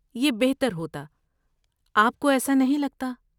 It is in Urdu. یہ بہتر ہوتا، آپ کو ایسا نہیں لگتا۔